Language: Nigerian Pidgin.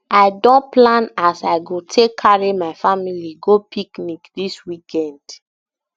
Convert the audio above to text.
i don plan as i go take carry my family go picnic dis weekend